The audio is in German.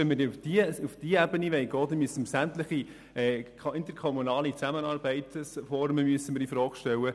Wenn wir auf diese Ebene gehen wollen, müssen wir sämtliche Formen interkommunaler Zusammenarbeit infrage stellen.